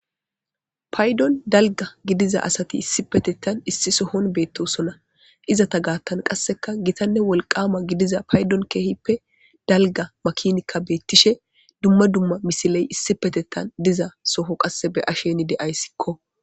paydon dalga gidiza asati issi petettan issi sohon beettosona iza ta gaattan qasseka gitanne wolqama gidiza paydon keehippe dalga makinikka beettishe dumma dumma misiley issi petettan diza soho qasse be asheni deayssikko